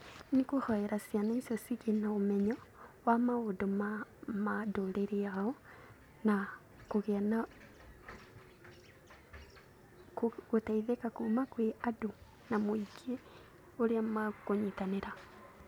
Nĩ kũhoera ciana icio cigĩe na ũmenyo wa maũndũ ma mĩtũrĩre yao na kũgĩa na, gũteiylthĩka kuma kũrĩ andũ na mũingĩ ũrĩa makũnyitanĩra.